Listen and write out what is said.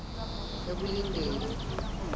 ekulindeni